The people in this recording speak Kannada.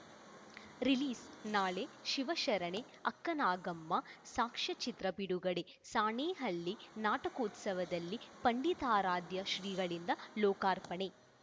ರಿಲೀಸ್‌ನಾಳೆ ಶಿವಶರಣೆ ಅಕ್ಕನಾಗಮ್ಮ ಸಾಕ್ಷ್ಯಚಿತ್ರ ಬಿಡುಗಡೆ ಸಾಣೇಹಳ್ಳಿ ನಾಟಕೋತ್ಸವದಲ್ಲಿ ಪಂಡಿತಾರಾಧ್ಯ ಶ್ರೀಗಳಿಂದ ಲೋಕಾರ್ಪಣೆ